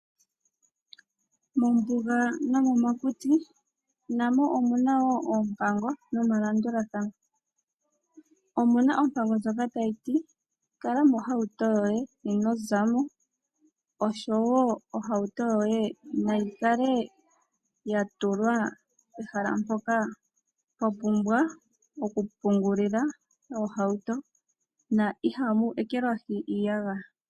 Mombuga nomomakuti, na mo omu na wo oompango nomalandulathano. Omu na ompango ndjoka tayi ti kala mohauto yoye ino za mo, osho wo ohauto yoye nayi kale ya tulwa pehala mpoka pwa pumbwa okukankamekwa na ihamu ekelwahi iiyagaya.